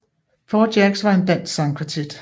Four Jacks var en dansk sangkvartet